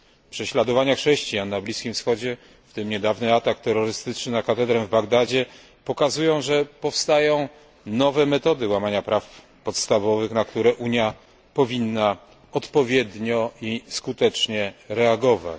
Prześladowania chrześcijan na Bliskim Wschodzie, w tym niedawny atak terrorystyczny na katedrę w Bagdadzie, pokazują, że powstają nowe metody łamania praw podstawowych, na które Unia powinna odpowiednio i skutecznie reagować.